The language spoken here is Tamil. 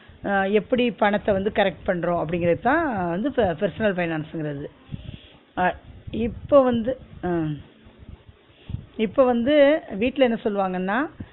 ஆஹ் எப்டி பணத்த வந்து correct பண்றோம் அப்பிடிங்கரத தான் வந்து personal finance ங்கிறது ஆஹ் இப்ப வந்து அஹ் இப்ப வந்து வீட்ல என்ன சொல்வாங்கன்னா